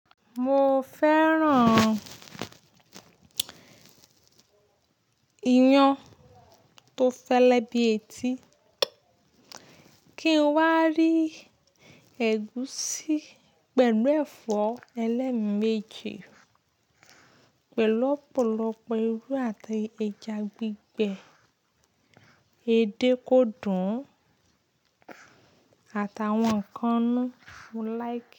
Mo fẹ́ràn iyán tó fẹ́lẹ́ bí etí, kí n wá rí ẹ̀gúsí pẹ̀lú ẹ̀fọ́ ẹlẹ́meji, pẹ̀lú ọ̀pọ̀lọpọ̀ irú àti ẹja gbígbẹ, edé kódùn àtàwọn nkan inu mo laiki.